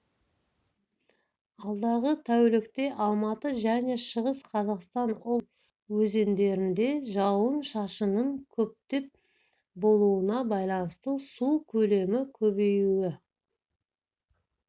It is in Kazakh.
алдағы тәулікте алматы және шығыс қазақстан облыстарының жекелеген өзендерінде жауын-шашынның көптеп болуына байланысты су көлемі көбеюі